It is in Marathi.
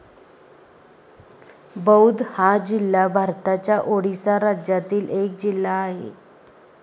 बौध हा जिल्हा भारताच्या ओडिसा राज्यातील एक जिल्हा आहे